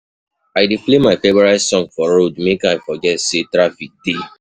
I dey play my favourite song for road make I forget sey traffic dey.